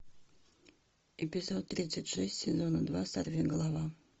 эпизод тридцать шесть сезона два сорви голова